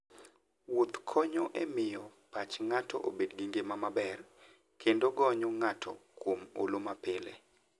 Wuoth konyo e miyo pach ng'ato obed gi ngima maber, kendo gonyo ng'ato kuom olo mapile.